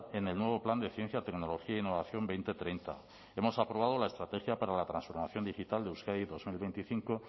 en el nuevo plan de ciencia tecnología e innovación dos mil treinta hemos aprobado la estrategia para la transformación digital de euskadi dos mil veinticinco